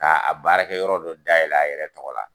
K'a baarakɛ yɔrɔ dɔ dayɛlɛ a yɛrɛ tɔgɔ la.